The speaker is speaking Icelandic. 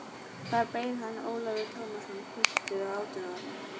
Þar beið hans Ólafur Tómasson, piltur á átjánda ári.